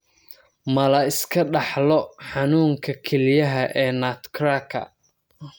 Ma la iska dhaxlo xanuunka kelyaha ee nutcracker?